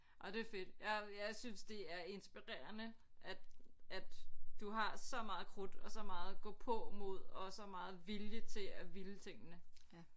Og det er fedt jeg jeg synes det er inspirerende at at du har så meget krudt og så meget gåpåmod og så meget vilje til at ville tingene